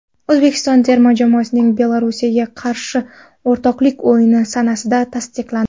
O‘zbekiston terma jamoasining Belarusga qarshi o‘rtoqlik o‘yini sanasi tasdiqlandi.